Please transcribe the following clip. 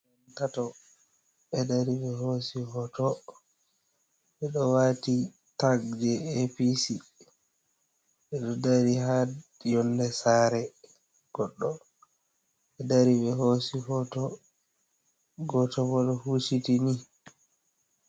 Tato ɓe dari ɓe hosi hoto ɓe do wati tak je apc, ɓe do dari ha yonde sare goɗɗo ɓe dari ɓe hosi foto, goto bo ɗo husiti ni.